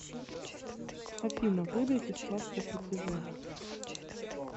афина выдайте справку о плетеже